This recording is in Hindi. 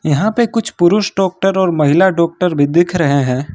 यहां पे कुछ पुरुष डॉक्टर और महिला डॉक्टर भी दिख रहे हैं।